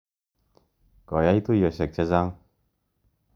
Koyai tuyosyek che chang'.